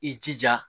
I jija